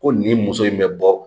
Ko nin muso in bɛ bɔ